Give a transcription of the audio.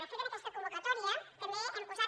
de fet en aquesta convocatòria també hi hem posat